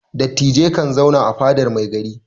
Dattijai kan zauna a fadar mai gari.